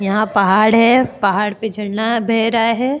यहां पहाड़ है पहाड़ पे झड़ना बह रहा है।